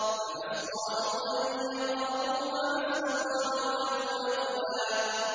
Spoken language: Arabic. فَمَا اسْطَاعُوا أَن يَظْهَرُوهُ وَمَا اسْتَطَاعُوا لَهُ نَقْبًا